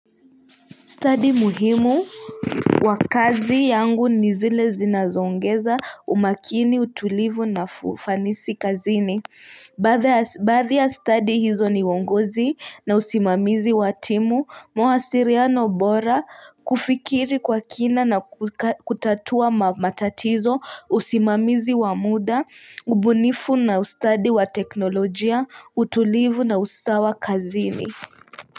Stadi muhimu wa kazi yangu ni zile zinazoongeza umakini utulivu na ufanisi kazini Baadhi ya stadi hizo ni uongozi na usimamizi wa timu mawasiliano bora kufikiri kwa kina na kutatua matatizo usimamizi wa muda ubunifu na ustadi wa teknolojia utulivu na usawa kazini.